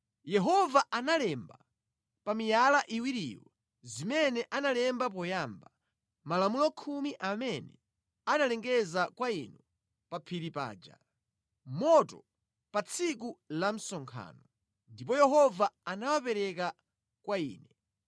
Yehova analemba pa miyala iwiriyo zimene analemba poyamba, Malamulo Khumi amene analengeza kwa inu pa phiri paja, mʼmoto, pa tsiku la msonkhano. Ndipo Yehova anawapereka kwa ine.